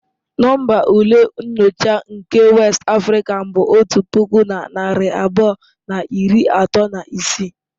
Nọmba ule nyocha nke West African bụ otu puku na narị abụọ na iri atọ na isii.